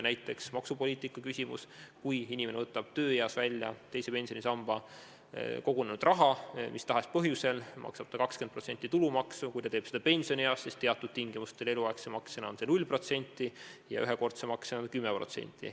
Näiteks maksupoliitiline punkt: kui inimene võtab tööeas mis tahes põhjusel välja teise pensionisambasse kogunenud raha, maksab ta 20% tulumaksu, kui ta teeb seda pensionieas, siis teatud tingimustel, eluaegse makse korral on see 0% ja ühekordse makse korral 10%.